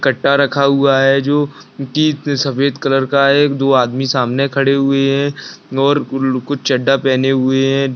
कट्टा रखा हुआ है जो की सफेद कलर का है एक दो आदमी सामने खड़े हुए है और कुछ चड्डा पहने हुए है।